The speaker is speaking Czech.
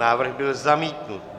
Návrh byl zamítnut.